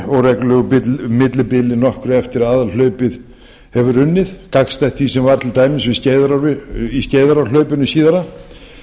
skvettur með óreglulegu millibili nokkru eftir að aðalhlaupið hefur runnið gagnstætt því sem var til dæmis í skeiðarárhlaupinu síðara